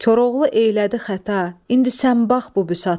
Koroğlu elədi xəta, indi sən bax bu büsata.